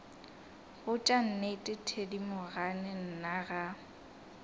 botša nnete thedimogane nna ga